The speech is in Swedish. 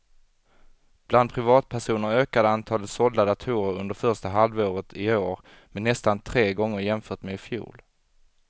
Bland privatpersoner ökade antalet sålda datorer under första halvåret i år med nästan tre gånger jämfört med i fjol.